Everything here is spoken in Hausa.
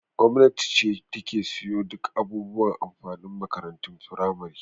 Gwamnati ce ta ke siyo duk abubuwan amfanin makarantun firamare.